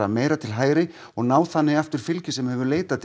meira til hægri og ná þannig aftur fylgi sem hefur leitað til